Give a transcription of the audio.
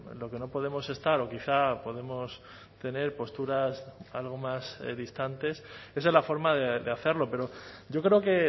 lo que no podemos estar o quizá podemos tener posturas algo más distantes esa es la forma de hacerlo pero yo creo que